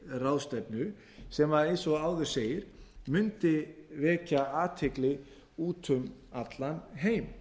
ráðstefnu sem eins og áður segir mundi vekja athygli úti um allan heim